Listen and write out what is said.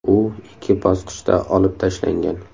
U ikki bosqichda olib tashlangan.